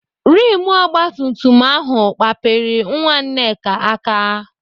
Rimụ ogbatumtum ahụ kpapịrị nwa Nneka aka.